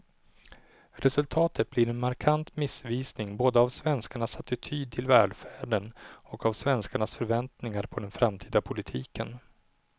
Resultatet blir en markant missvisning både av svenskarnas attityd till välfärden och av svenskarnas förväntningar på den framtida politiken.